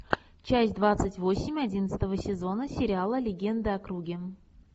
часть двадцать восемь одиннадцатого сезона сериала легенды о круге